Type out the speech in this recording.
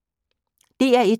DR1